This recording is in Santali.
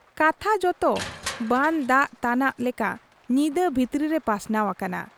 ᱠᱟᱛᱷᱟ ᱡᱚᱛᱚ ᱵᱟᱱ ᱫᱟᱜ ᱛᱟᱱᱟᱜ ᱞᱮᱠᱟ ᱧᱤᱫᱟᱹ ᱵᱷᱤᱛᱨᱟᱹ ᱨᱮ ᱯᱟᱥᱱᱟᱣ ᱟᱠᱟᱱᱟ ᱾